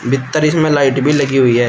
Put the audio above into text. भीत्तर इसमें लाइट भी लगी हुई है।